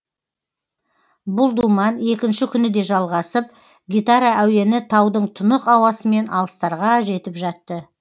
бұл думан екінші күні де жалғасып гитара әуені таудың тұнық ауасымен алыстарға жетіп жатты